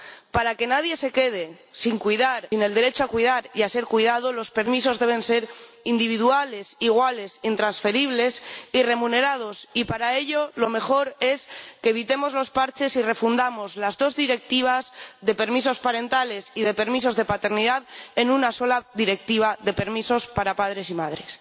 Para que nadie se quede sin el derecho a cuidar y a ser cuidado, los permisos deben ser individuales, iguales, intransferibles y remunerados, y para ello lo mejor es que evitemos los parches y refundamos las dos Directivas de permisos parentales y de permisos de paternidad en una sola Directiva de permisos para padres y madres.